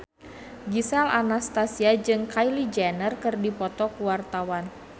Gisel Anastasia jeung Kylie Jenner keur dipoto ku wartawan